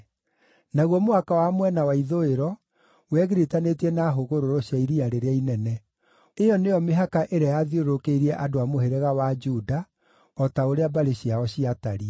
Naguo mũhaka wa mwena wa ithũĩro wegiritanĩtie na hũgũrũrũ cia Iria rĩrĩa Inene. Ĩyo nĩyo mĩhaka ĩrĩa yathiũrũrũkĩirie andũ a mũhĩrĩga wa Juda, o ta ũrĩa mbarĩ ciao ciatariĩ.